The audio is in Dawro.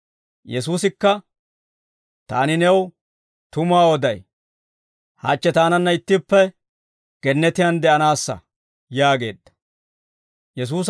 Yesuusikka, «Taani new tumuwaa oday, hachche taananna ittippe gannatiyaan de'anaassa» yaageedda.